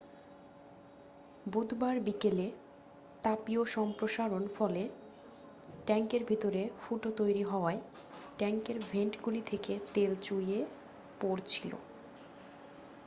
বুধবার বিকেলে তাপীয় সম্প্রসারণর ফলে ট্যাঙ্কের ভিতরে ফুটো তৈরি হওয়ায় ট্যাঙ্কের ভেন্টগুলি থেকে তেল চুইয়ে পড়ছিল